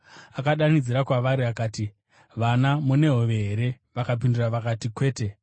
Akadanidzira kwavari akati, “Vana mune hove here?” Vakapindura vakati, “Kwete.”